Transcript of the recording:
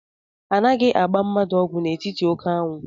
Anaghị agba mmadụ ọgwụ n'etiti oké anwụ